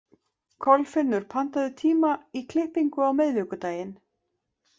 Kolfinnur, pantaðu tíma í klippingu á miðvikudaginn.